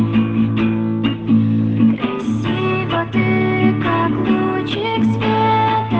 для тае